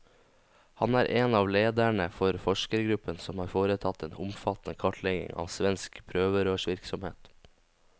Han er en av lederne for forskergruppen som har foretatt den omfattende kartleggingen av svensk prøverørsvirksomhet.